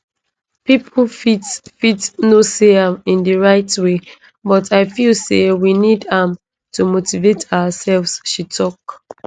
pipo fit fit no see am in di right way but i feel say we need am to motivate ourselves she tok